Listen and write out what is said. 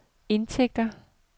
indtægter